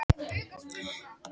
Þetta eru skiljanleg ummæli